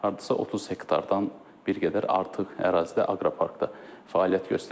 Hardasa 30 hektardan bir qədər artıq ərazidə aqropark da fəaliyyət göstərəcək.